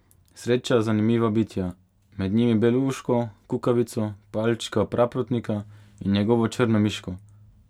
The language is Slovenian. Sreča zanimiva bitja, med njimi belouško, kukavico, Palčka Praprotnika in njegovo Črnomiško.